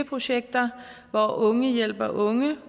projekter hvor unge hjælper unge